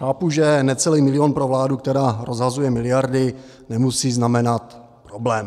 Chápu, že necelý milion pro vládu, která rozhazuje miliardy, nemusí znamenat problém.